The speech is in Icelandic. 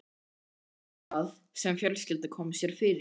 Þá var það sem fjölskyldan kom sér fyrir í